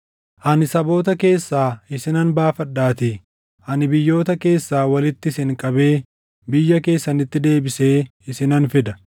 “ ‘Ani saboota keessaa isinan baafadhaatii; ani biyyoota keessaa walitti isin qabee biyya keessanitti deebisee isinan fida.